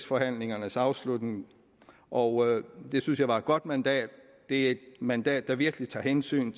forhandlingernes afslutning og det synes jeg var et godt mandat det er et mandat der virkelig tager hensyn